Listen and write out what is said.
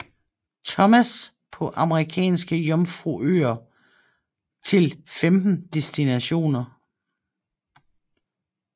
Thomas på Amerikanske Jomfruøer til 15 destinationer